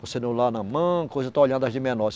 O celular na mão coisa, eu estou olhando as de menor.